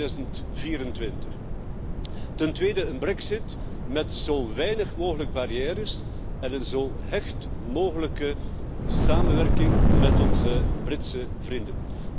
2024. Ten tweede, een brexit met zo weinig mogelijk barrières en een zo hecht mogelijke samenwerking met onze Britse vrienden.